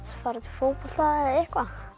fótbolta eða eitthvað